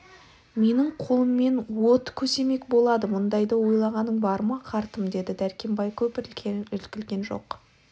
менің қолыммен от көсемек болады бұндайды ойлағаның бар ма қартым деді дәркембай көп іркілген жоқ